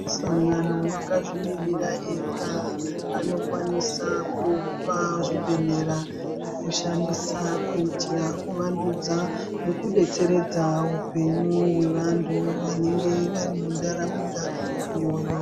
Sangano akazvimirira ega anokwanisa kupa zvibhedhleya zvekushandisa kuitira kuvandudza nekudetseredza upenyu hwevantu vanenge vari muntaraunda iyoyo.